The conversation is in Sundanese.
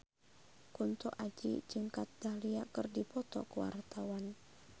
Kunto Aji jeung Kat Dahlia keur dipoto ku wartawan